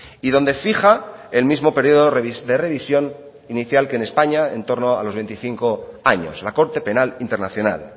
y donde fija el mismo periodo de revisión inicial que en españa en torno a los veinticinco años la corte penal internacional